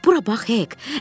Bura bax, Hek!